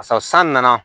Sabu san nana